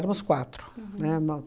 quatro, né,